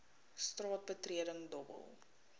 straat betreding dobbel